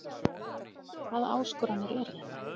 Hvaða áskoranir eru þetta?